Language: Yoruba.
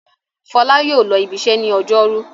Fọlá yóò lọ ibiṣẹ́ ní ọjọ́rú!